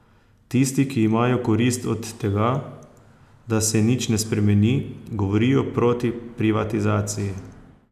Tisti, ki imajo korist od tega, da se nič ne spremeni, govorijo proti privatizaciji.